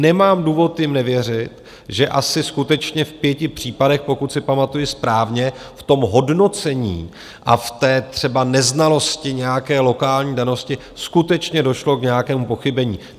Nemám důvod jim nevěřit, že asi skutečně v pěti případech, pokud si pamatuji správně, v tom hodnocení a v té třeba neznalosti nějaké lokální danosti skutečně došlo k nějakému pochybení.